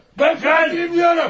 Mən qatiləm deyirəm!